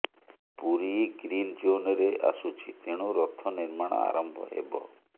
Puri green ଜୋନରେ ଆସୁଛି ତେଣୁ ରଥ ନିର୍ମାଣ ଆରମ୍ଭ ହେବ